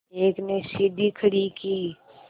एक ने सीढ़ी खड़ी की